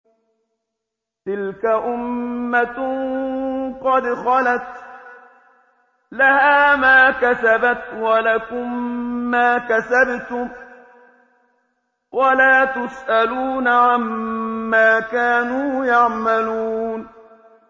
تِلْكَ أُمَّةٌ قَدْ خَلَتْ ۖ لَهَا مَا كَسَبَتْ وَلَكُم مَّا كَسَبْتُمْ ۖ وَلَا تُسْأَلُونَ عَمَّا كَانُوا يَعْمَلُونَ